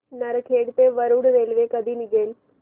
नरखेड ते वरुड रेल्वे कधी निघेल